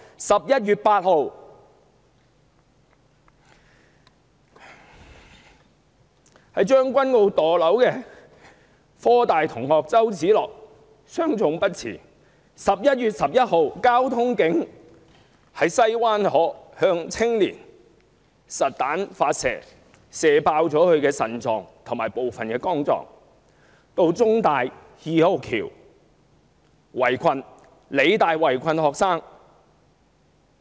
11月8日，在將軍澳墮樓的香港科技大學學生周梓樂傷重不治 ；11 月11日，交通警員在西灣河向青年發射實彈，射破對方的腎臟和部分肝臟；還有警方到香港中文大學二號橋、香港理工大學圍困學生的事件。